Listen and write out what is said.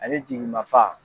Ale jigin maa fa.